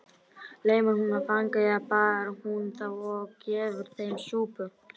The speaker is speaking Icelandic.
Lemur hún fanga eða baðar hún þá og gefur þeim súpu?